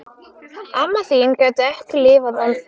Amma þín gæti ekki lifað án þín.